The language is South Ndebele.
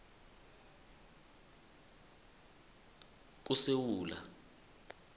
kusewula